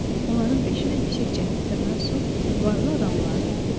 Onların beşi də yüksək cəmiyyətə mənsub, varlı adamlardı.